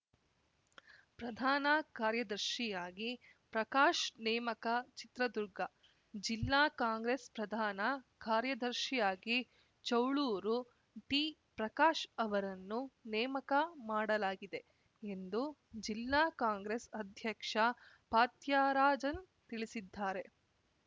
ಪ್ರಧಾನ ಕಾರ್ಯದರ್ಶಿಯಾಗಿ ಪ್ರಕಾಶ್‌ ನೇಮಕ ಚಿತ್ರದುರ್ಗ ಜಿಲ್ಲಾ ಕಾಂಗ್ರೆಸ್‌ ಪ್ರಧಾನ ಕಾರ್ಯದರ್ಶಿಯಾಗಿ ಚೌಳೂರು ಟಿಪ್ರಕಾಶ್‌ ಅವರನ್ನು ನೇಮಕ ಮಾಡಲಾಗಿದೆ ಎಂದು ಜಿಲ್ಲಾ ಕಾಂಗ್ರೆಸ್‌ ಅಧ್ಯಕ್ಷ ಫಾತ್ಯರಾಜನ್‌ ತಿಳಿಸಿದ್ದಾರೆ